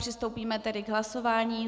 Přistoupíme tedy k hlasování.